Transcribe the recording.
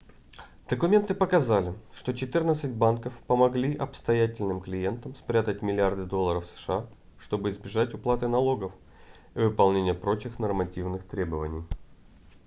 документы показали что четырнадцать банков помогли состоятельным клиентам спрятать миллиарды долларов сша чтобы избежать уплаты налогов и выполнения прочих нормативных требований